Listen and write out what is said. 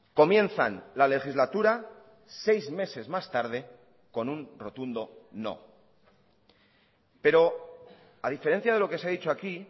comienzan lalegislatura seis meses más tarde con un rotundo no pero a diferencia de lo que se ha dicho aquí